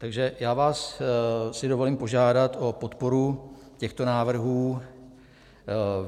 Takže já vás si dovolím požádat o podporu těchto návrhů.